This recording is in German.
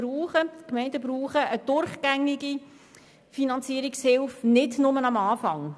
Die Gemeinden brauchen eine durchgängige Finanzierungshilfe, nicht nur eine zu Beginn.